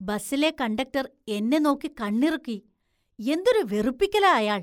ബസിലെ conductor‍ എന്നെ നോക്കി കണ്ണിറുക്കി. എന്തൊരു വെറുപ്പിക്കലാ അയാള്‍ .